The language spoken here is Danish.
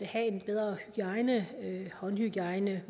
have en bedre hygiejne håndhygiejne